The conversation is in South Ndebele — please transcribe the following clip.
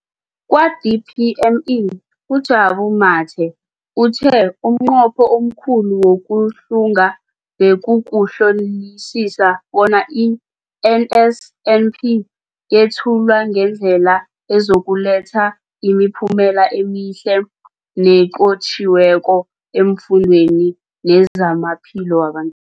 Kwa-DPME, uJabu Mathe, uthe umnqopho omkhulu wokuhlunga bekukuhlolisisa bona i-NSNP yethulwa ngendlela ezokuletha imiphumela emihle nenqotjhiweko efundweni nezamaphilo waba